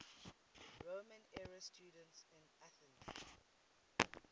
roman era students in athens